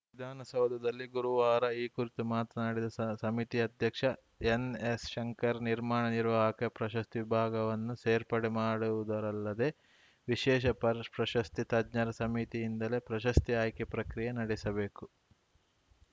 ವಿಧಾನಸೌಧದಲ್ಲಿ ಗುರುವಾರ ಈ ಕುರಿತು ಮಾತನಾಡಿದ ಸ ಸಮಿತಿ ಅಧ್ಯಕ್ಷ ಎನ್‌ಎಸ್‌ಶಂಕರ್‌ ನಿರ್ಮಾಣ ನಿರ್ವಾಹಕ ಪ್ರಶಸ್ತಿ ವಿಭಾಗವನ್ನು ಸೇರ್ಪಡೆ ಮಾಡುವುದರಲ್ಲದೇ ವಿಶೇಷ ಪರ್ ಪ್ರಶಸ್ತಿ ತಜ್ಞರ ಸಮಿತಿಯಿಂದಲೇ ಪ್ರಶಸ್ತಿ ಆಯ್ಕೆ ಪ್ರಕ್ರಿಯೆ ನಡೆಸಬೇಕು